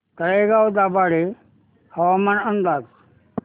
तळेगाव दाभाडे हवामान अंदाज